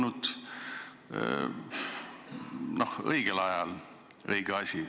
Siis oleks see olnud õige asi õigel ajal.